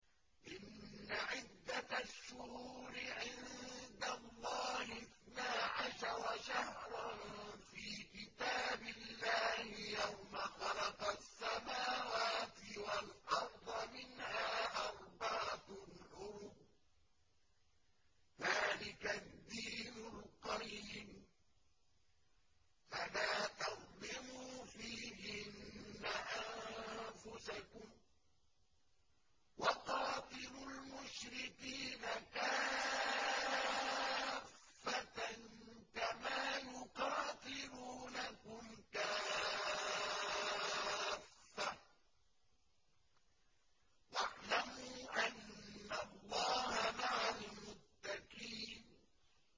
إِنَّ عِدَّةَ الشُّهُورِ عِندَ اللَّهِ اثْنَا عَشَرَ شَهْرًا فِي كِتَابِ اللَّهِ يَوْمَ خَلَقَ السَّمَاوَاتِ وَالْأَرْضَ مِنْهَا أَرْبَعَةٌ حُرُمٌ ۚ ذَٰلِكَ الدِّينُ الْقَيِّمُ ۚ فَلَا تَظْلِمُوا فِيهِنَّ أَنفُسَكُمْ ۚ وَقَاتِلُوا الْمُشْرِكِينَ كَافَّةً كَمَا يُقَاتِلُونَكُمْ كَافَّةً ۚ وَاعْلَمُوا أَنَّ اللَّهَ مَعَ الْمُتَّقِينَ